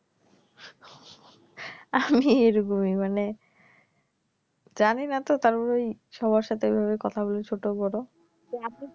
আমি এরকমি মানে জানিনাতো তারপরে ওই সবার সাথে ঐভাবে কথা বলি ছোট বড়ো